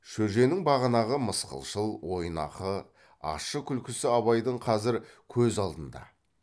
шөженің бағанағы мысқылшыл ойнақы ащы күлкісі абайдың қазір көз алдында